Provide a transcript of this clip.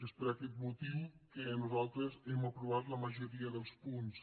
és per aquest motiu que nosaltres hem aprovat la majoria dels punts